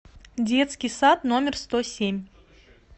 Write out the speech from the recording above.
детский сад номер сто семь